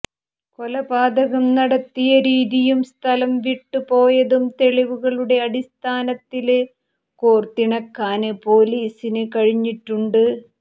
കൊലപാതകം നടത്തിയ രീതിയും സ്ഥലംവിട്ടു പോയതും തെളിവുകളുടെ അടിസ്ഥാനത്തില് കോര്ത്തിണക്കാന് പൊലീസിന് കഴിഞ്ഞിട്ടുണ്ട്